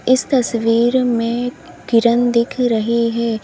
इस तस्वीर में किरन दिख रही है।